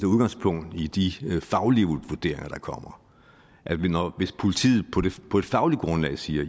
udgangspunkt i de faglige vurderinger der kommer hvis politiet på et fagligt grundlag siger